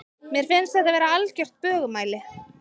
Mér finnst þetta vera algert bögumæli.